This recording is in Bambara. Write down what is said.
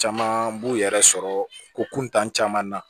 Caman b'u yɛrɛ sɔrɔ ko kuntan caman na